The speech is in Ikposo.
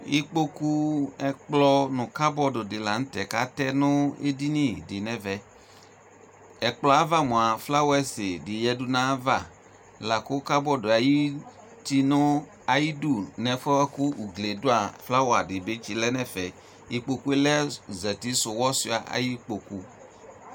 Ikpokʋ, ɛkplɔ nʋ kabɔdʋ di la nʋ tɛ kʋ atɛ nʋ edini di nɛvɛ Ɛkplɔ yɛ ava moa, flawɛsi di yadʋ nayava, la kʋ kabɔdʋ ayuti nʋ ayidu nɛfuɛ boa kʋ ugli yɛ dʋ a, flawa di bi tsi lɛ nʋ ɛfɛ Ikpokʋ yɛ lɛ zatisʋwɔsua ayi kpoku